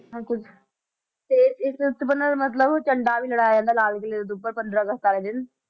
ਕੁਛ ਤੇ ਦਾ ਮਤਲਬ ਝੰਡਾ ਵੀ ਲਹਰਾਇਆ ਜਾਂਦਾ ਲਾਲ ਕਿਲ੍ਹੇ ਦੇ ਉੱਪਰ ਪੰਦਰਾਂ ਅਗਸਤ ਵਾਲੇ ਦਿਨ।